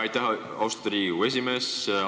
Aitäh, austatud Riigikogu esimees!